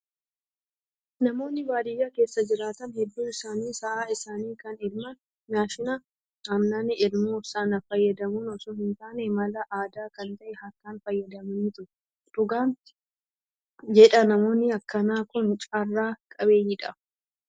Namoonni baadiyyaa keessa jiraatan hedduun isaanii sa'a isaanii kan elman maashina aannan elmu sana fayyadamuun osoo hin taane, mala aadaa kan ta'e harkaan fayyadamaniitu. Dhugaan jedhaa namoonni akkanaa Kun carraa qabeeyyiidha.